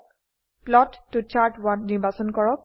plot ত chart নিৰ্বাচন কৰক